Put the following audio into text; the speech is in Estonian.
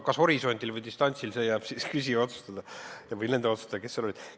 Kas horisondil või distantsil – see jääb küsija otsustada või nende otsustada, kes seal kohal olid.